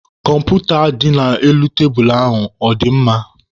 Kọmputa dị n'elu tebulu ahụ ọ dị mma?